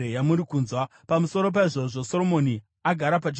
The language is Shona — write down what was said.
Pamusoro paizvozvo, Soromoni agara pachigaro choushe.